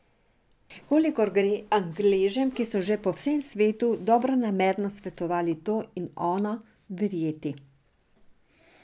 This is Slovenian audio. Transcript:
Kolikor gre Angležem, ki so že po vsem svetu dobronamerno svetovali to in ono, verjeti.